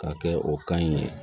K'a kɛ o kan ɲi